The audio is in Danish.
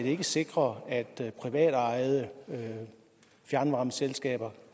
ikke sikrer at privatejede fjernvarme selskaber